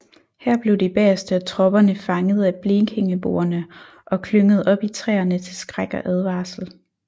Her blev de bageste af tropperne fanget af blekingeboerne og klynget op i træerne til skræk og advarsel